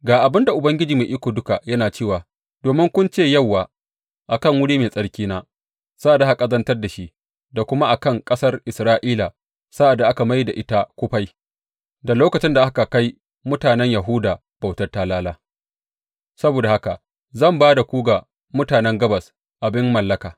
Ga abin da Ubangiji Mai Iko Duka yana cewa domin kun ce Yauwa a kan wuri mai tsarkina sa’ad da aka ƙazantar da shi da kuma a kan ƙasar Isra’ila sa’ad da aka mai da ita kufai da lokacin da aka kai mutanen Yahuda bautar talala, saboda haka zan ba da ku ga mutanen Gabas abin mallaka.